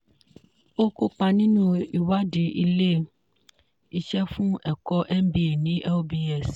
ó kópa nínú ìwádìí ilé-iṣẹ́ fún ẹ̀kọ́ mba ní lbs